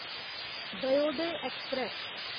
Dayodaya express